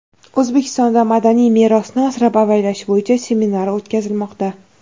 O‘zbekistonda madaniy merosni asrab-avaylash bo‘yicha seminar o‘tkazilmoqda.